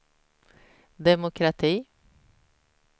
demokrati